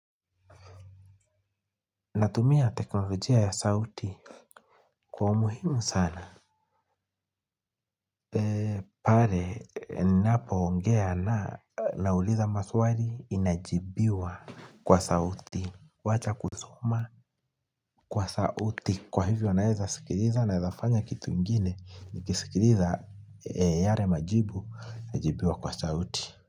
Natumia teknolojia ya sauti kwa umuhimu sana. Pale ninapoongea na nauliza maswali inajibiwa kwa sauti. Wacha kusoma kwa sauti. Kwa hivyo naeza sikiliza naezafanya kitu ingine. Nikisikiliza yale majibu najibiwa kwa sauti.